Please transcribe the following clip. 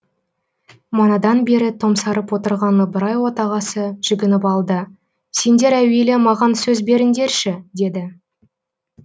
манадан бері томсарып отырған ыбырай отағасы жүгініп алды сендер әуелі маған сөз беріңдерші деді